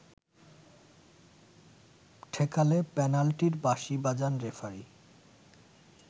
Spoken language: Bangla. ঠেকালে পেনাল্টির বাঁশি বাজান রেফারি